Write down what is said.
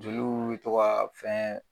Joliw bi to ka fɛn